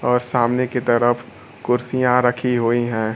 और सामने की तरफ कुर्सियां रखी हुई हैं।